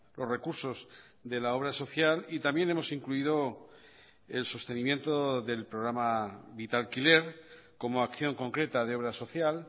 los recursos de la obra social y también hemos incluido el sostenimiento del programa vitalquiler como acción concreta de obra social